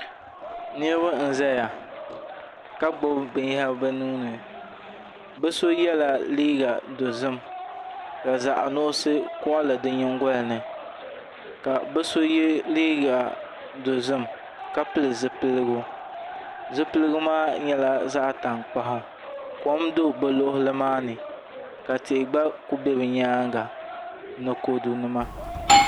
Niraba n ʒɛya ka gbubi binyɛra bi nuuni bi so yɛla liiga dozim ka zaɣ nuɣsi koɣali di nyingoli ni ka bi so yɛ liiga dozim ka pili zipiligu zipiligu maa nyɛla zaɣ tankpaɣu kom do bi nyaanga ka tihi gba ku bɛ nimaani ni kodu nima